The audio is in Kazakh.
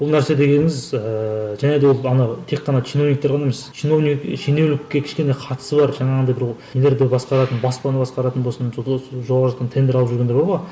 бұл нәрсе дегеніміз ііі және де ол ана тек қана чиновниктер ғана емес чиновник шенеунікке кішкене қатысы бар жаңағындай бір нелерді басқаратын баспаны басқаратын болсын жоғары жақтан тендер алып жүргендер бар ғой